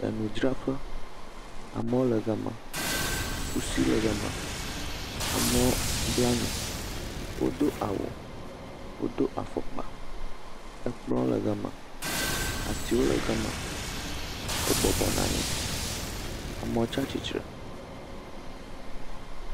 Enudzraƒe. Amewo le gama, kusi le gama, amlɔɔ bla nu, wodo awu, wodo afɔkpa. Ekplɔ̃ le gama, atiwo le gama. Wo bɔbɔ nɔ anyi, amewo tsa tsi tsre.